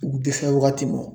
U dɛsɛ wagati mɔn.